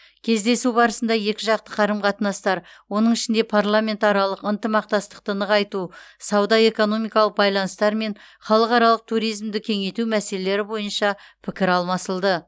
кездесу барысында екіжақты қарым қатынастар оның ішінде парламентаралық ынтымақтастықты нығайту сауда экономикалық байланыстар мен халықаралық туризмді кеңейту мәселелері бойынша пікір алмасылды